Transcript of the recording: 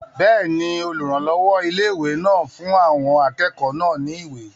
Bẹ́ẹ̀ni, olùrànlọ́wọ́ ilé-ìwé náà fún àwọn akẹ́kọ̀ọ́ náà ní ìwé